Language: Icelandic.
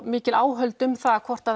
mikil áhöld um það hvort